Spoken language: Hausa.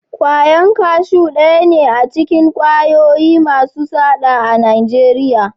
Kwayan kashu daya ne acikin kwayoyi Masu saɗa a nageriya